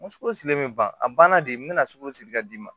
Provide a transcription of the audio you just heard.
N ko sogo si min ban a banna de n bɛna sogo si ka d'i ma